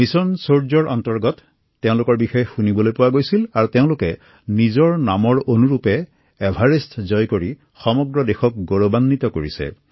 mission সূৰ্যৰ অধীনত এই উদীয়মান যুৱকযুৱতীসকল নিৰ্বাচিত হয় আৰু তেওঁলোকে নিজৰ নামৰ অনুৰূপে এভাৰেষ্ট জয় কৰি সমগ্ৰ দেশলৈ গৌৰৱ কঢ়িয়াই আনিছে